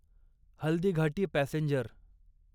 Haldighati passenger